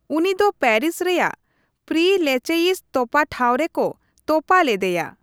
ᱩᱱᱤ ᱫᱚ ᱯᱮᱨᱤᱥ ᱨᱮᱭᱟᱜ ᱯᱨᱤ ᱞᱮᱪᱮᱭᱤᱥ ᱛᱚᱯᱟ ᱴᱷᱟᱶ ᱨᱮᱠᱚ ᱛᱚᱯᱟ ᱞᱮᱫᱮᱭᱟ ᱾